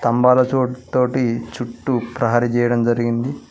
స్తంభాల చో తోటి చుట్టూ ప్రహరీ చేయడం జరిగింది.